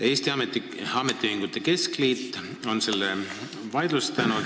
Eesti Ametiühingute Keskliit on selle vaidlustanud.